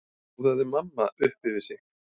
hljóðaði mamma upp yfir sig.